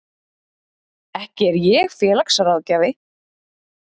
Ekki er ég félagsráðgjafi.